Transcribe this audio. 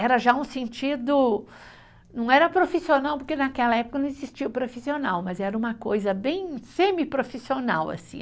Era já um sentido, não era profissional, porque naquela época não existia o profissional, mas era uma coisa bem semiprofissional, assim.